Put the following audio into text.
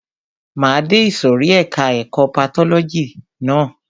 Máa de ìsòrí ẹka ẹ̀kọ́ patọ́lọ́jì ná.